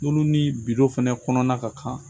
Olu ni bido fana kɔnɔna ka kan